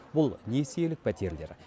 бұл несиелік пәтерлер